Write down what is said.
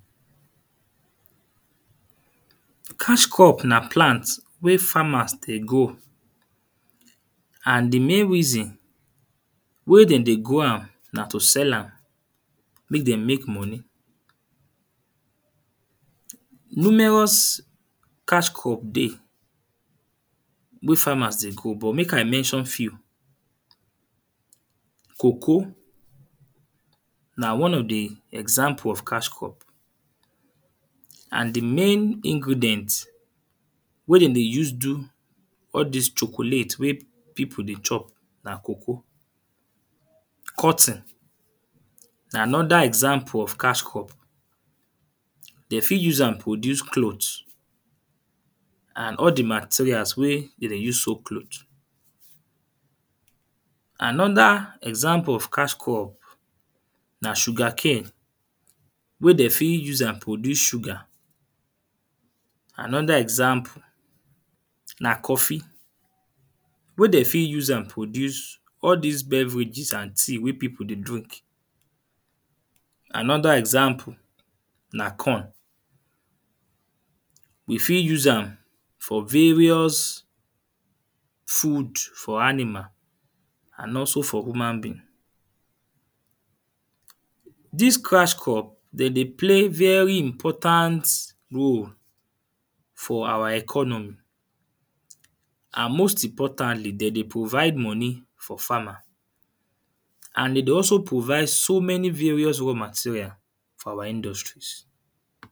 Cash crop na plant wey farmers dey grow. And the main reason why dem dey grow am na to sell am make dem make money. Numerous cash crop dey wey farmers dey grow but make i mention few. Cocoa, na one of the example of cash crop. And the main ingredient wey dem dey use do all dis chocolate wey people dey chop na cocoa. Cotton na another example of cash crop. De fit use am produce cloth and all the materials wey dem dey use sew cloth. Another example of cash crop na sugarcane wey de fit use am produce sugar. Anotheer example na coffee wey de fit use am produce all dis beverages and tea wey people dey drink. Another example na corn. They fit use am for various food for animal and also for human being. Dis cash crop de dey play very important role for our economy. And most importantly de dey provide money for farmer. And de dey also provide so many various raw materials for our industries.